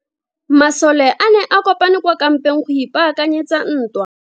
Masole a ne a kopane kwa kampeng go ipaakanyetsa ntwa.